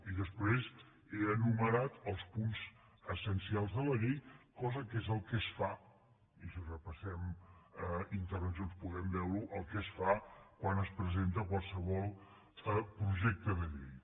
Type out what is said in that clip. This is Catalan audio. i després he enu·merat els punts essencials de la llei cosa que és el que es fa i si repassem intervencions podem veure·ho quan es presenta qualsevol projecte de llei